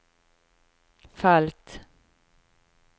felt